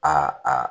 Aa